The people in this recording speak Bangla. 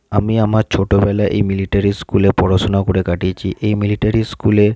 আমি আমার ছোট বেলায় এই মিলিটারি স্কুল -এ পড়াশোনা করে কাটিয়েছি। এই মিলিটারি স্কুল -এ--